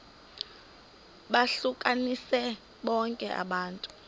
lohlukanise bonke abantu